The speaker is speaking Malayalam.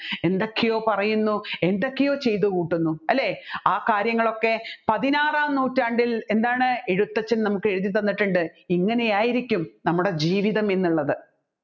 എന്തൊക്കെയോ പറയുന്നു എന്തൊക്കെയോ ചെയ്തുകൂട്ടുന്ന ആ കാര്യങ്ങളൊക്കെ പതിനാറാം നൂറ്റാണ്ടിൽ എന്താണ് എഴുത്തച്ഛൻ നമ്മുക്ക് എഴുതിത്തന്നിട്ടുണ്ട് ഇങ്ങനെ ആയിരിക്കും നമ്മുടെ ജീവിതമെന്നുള്ളത്